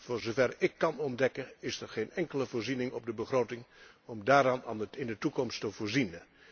Voor zover ik kan ontdekken is er geen enkele voorziening op de begroting om daarin in de toekomst te voorzien.